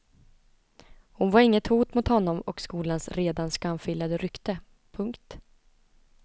Hon var inget hot mot honom och skolans redan skamfilade rykte. punkt